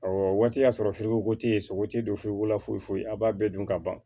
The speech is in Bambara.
Awɔ o waati y'a sɔrɔ fufugukotigi ye sogo tigi don furuko foyi foyi a bɛɛ dun ka ban